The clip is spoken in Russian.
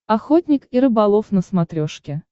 охотник и рыболов на смотрешке